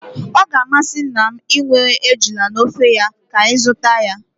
Ọ ga-amasị nna m inwe ejula n'ofe ya, ka anyị zụta ya